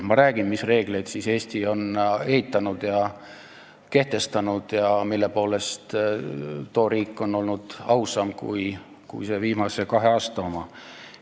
Ma räägin, mis reegleid Eesti on kehtestanud ja mille poolest too riik on olnud ausam kui viimase kahe aasta oma.